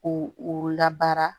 Ko u labaara